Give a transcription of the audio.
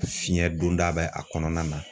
Fiɲɛ donda bɛ a kɔnɔna na